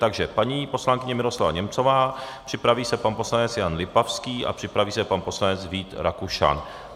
Takže paní poslankyně Miroslava Němcová, připraví se pan poslanec Jan Lipavský a připraví se pan poslanec Vít Rakušan.